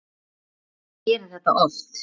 Ég geri þetta oft.